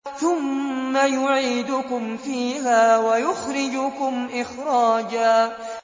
ثُمَّ يُعِيدُكُمْ فِيهَا وَيُخْرِجُكُمْ إِخْرَاجًا